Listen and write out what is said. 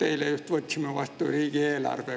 Eile just võtsime vastu riigieelarve.